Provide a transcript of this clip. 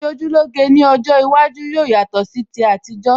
Ìṣojúlóge ní ọjọ́ iwájú yóò yatọ̀ sí ti àtijọ́